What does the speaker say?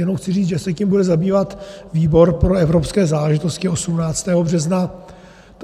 Jenom chci říci, že se tím bude zabývat výbor pro evropské záležitosti 18. března.